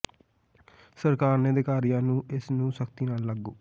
ਸਰਕਾਰ ਨੇ ਅਧਿਕਾਰੀਆਂ ਨੂੰ ਇਸ ਨੂੰ ਸਖ਼ਤੀ ਨਾਲ ਲਾਗੂ